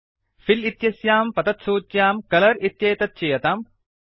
fill इत्यस्यां पतत्सूच्यां colour इत्येतत् चीयताम्